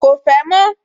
Ko fẹ́ mọ́